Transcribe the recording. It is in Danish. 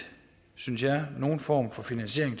synes jeg nogen form for finansiering